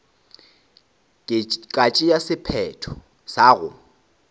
ka tšea sephetho sa go